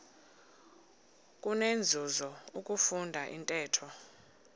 kunenzuzo ukufunda intetho